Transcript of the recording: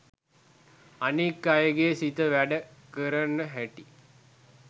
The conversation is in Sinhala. අනික් අයගෙ සිත වැඩ කරන හැටි